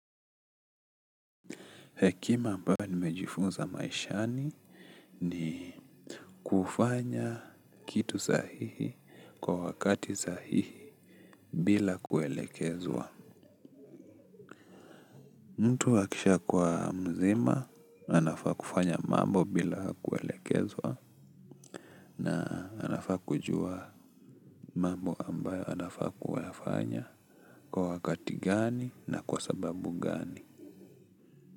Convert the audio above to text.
Hekimaambayo nimejifunza maishani ni kufanya kitu sahihi kwa wakati sahihi bila kuelekezwa. Mtu akishakuwa mzima anafaa kufanya mambo bila kuelekezwa na anafaa kujua mambo ambayo anafaa kufanya kwa wakati gani na kwa sababu gani.